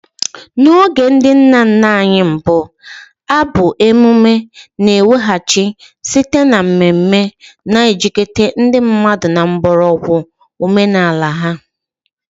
N'oge ndị nna nna anyị mbụ, abụ emume na-ekwughachi site na mmeme, na-ejikọta ndị mmadụ na mgbọrọgwụ omenala ha.